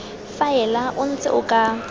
faela o ntse o ka